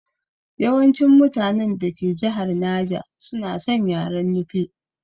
Yawancin mutanen dake jihar naja suna san yaren Nufe